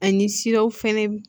Ani siraw fɛnɛ